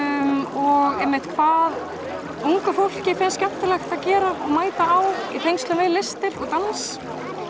og einmitt hvað ungu fólki finnst skemmtilegt að gera og mæta á í tengslum við listir og dans